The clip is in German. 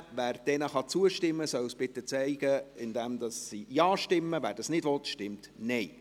Wer diesen zustimmen kann, soll dies bitte mit einer Ja-Stimme zeigen, wer dies nicht will, stimmt Nein.